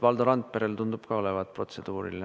Valdo Randperel tundub ka olevat protseduuriline.